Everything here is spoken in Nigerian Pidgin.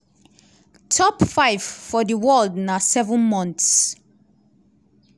top five for di world na seven months.